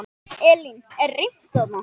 Elín, er reimt þarna?